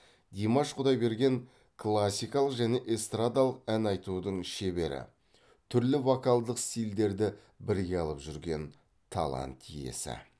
димаш құдайберген классикалық және эстрадалық ән айтудың шебері түрлі вокалдық стильдерді бірге алып жүрген талант иесі